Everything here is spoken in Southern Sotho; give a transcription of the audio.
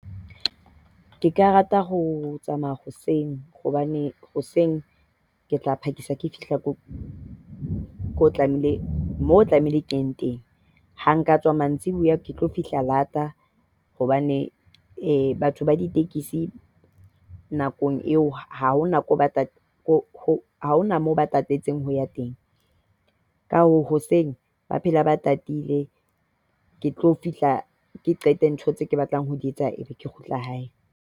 Ke ka rata ho tsamaya hoseng hobane hoseng ke tla phakisa ke fihla ko ko tlamehile moo tlamehile ke ye teng, Ha nka tswa mantsibuya, ke tlo fihla late hobane batho ba ditekesi nakong eo ha hona moo ba tatetseng ho ya teng. Ka hoo hoseng ba phela ba tatile. Ke tlo fihla ke qete ntho tseo ke batlang ho di etsa, e be ke kgutlela hae.